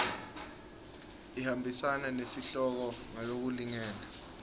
ihambisana nesihloko ngalokulingene